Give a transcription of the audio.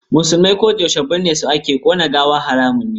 Musulmai ko yaushe binne su ake, ƙona gawa haramun ne.